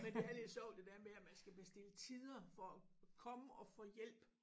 Men det er lidt sjovt det der med at man skal bestille tider for komme og få hjælp